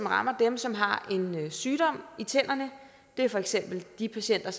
rammer dem som har en sygdom i tænderne det er for eksempel de patienter